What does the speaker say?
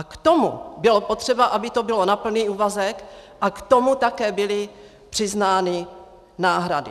A k tomu bylo potřeba, aby to bylo na plný úvazek, a k tomu také byly přiznány náhrady.